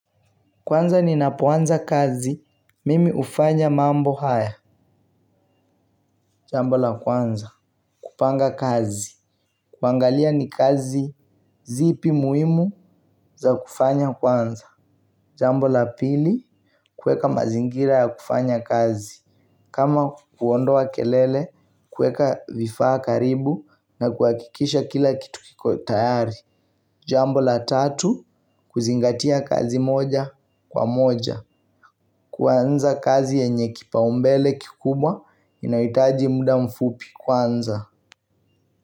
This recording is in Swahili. Kwanza ninapoanza kazi, mimi hufanya mambo haya. Jambo la kwanza, kupanga kazi, kuangalia ni kazi zipi muhimu za kufanya kwanza. Jambo la pili, kuweka mazingira ya kufanya kazi kama kuondoa kelele, kuweka vifaa karibu na kuakikisha kila kitu kiko tayari. Jambo la tatu, kuzingatia kazi moja kwa moja. Kuanza kazi yenye kipaumbele kikubwa inahitaji muda mfupi kwanza.